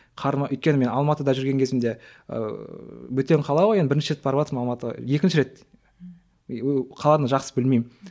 өйткені мен алматыда жүрген кезімде ыыы бөтен қала ғой енді бірінші рет барыватырмын алматыға екінші рет ыыы қаланы жақсы білмеймін